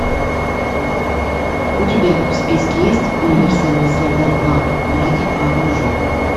у тебя в списке есть универсальный солдат два братья по оружию